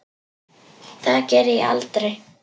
Það geri ég aldrei